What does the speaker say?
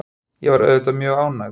Ég var auðvitað mjög ánægð.